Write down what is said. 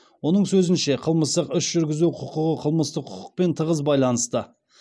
оның сөзінше қылмыстық іс жүргізу құқығы қылмыстық құқықпен тығыз байланысты